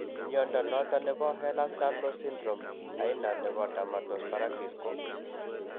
Mnyondo noton nebo Ehlers Danlos syndrome, aina nebo dermatosparaxis ko ?